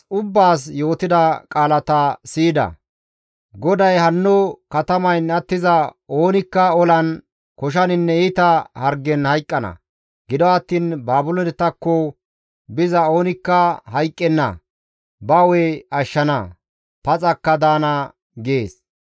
GODAY, «Hanno katamayn attiza oonikka olan, koshaninne iita hargen hayqqana; gido attiin Baabiloonetakko biza oonikka hayqqenna; ba hu7e ashshana; paxakka daana» gees.